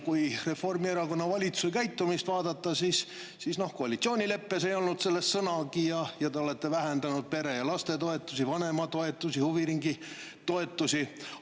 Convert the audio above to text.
Kui vaadata Reformierakonna valitsuse käitumist, siis koalitsioonileppes ei olnud selle kohta sõnagi, te olete vähendanud pere‑ ja lapsetoetusi, vanema, huviringitoetusi.